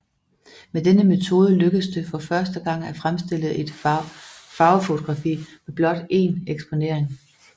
Med denne metode lykkedes det for første gang at fremstille et farvefotografi med blot én eksponering